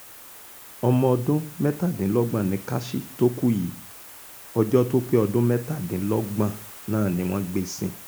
ọmọ ọdún mẹ́tàdínlọ́gbọ̀n nikashy tó kú yìí ọjọ́ tó pé ọdún mẹ́tàdínlọ́gbọ̀n náà ni wọ́n gbé e sin